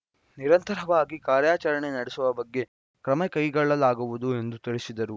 ನಿರಂತರವಾಗಿ ಕಾರ್ಯಾಚರಣೆ ನಡೆಸುವ ಬಗ್ಗೆ ಕ್ರಮಕೈಗೊಳ್ಳಲಾಗುವುದು ಎಂದು ತಿಳಿಸಿದರು